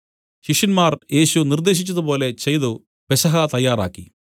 ശിഷ്യന്മാർ യേശു നിർദ്ദേശിച്ചത് പോലെ ചെയ്തു പെസഹ തയ്യാറാക്കി